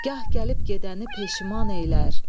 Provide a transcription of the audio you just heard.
Gah gəlib gedəni peşiman eylər.